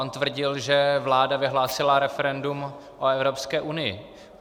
On tvrdil, že vláda vyhlásila referendum o Evropské unii.